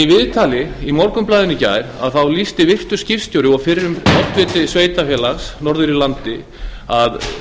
í viðtali í morgunblaðinu í gær lýsti virtur skipstjóri og fyrrum oddviti sveitarfélags norður í landi að